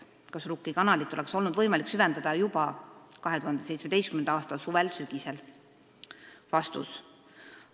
Kas Rukki kanalit olnuks võimalik süvendada juba 2017. a suvel-sügisel?